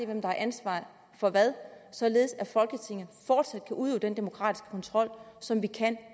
hvem der har ansvaret for hvad således at folketinget fortsat kan udøve den demokratiske kontrol som vi kan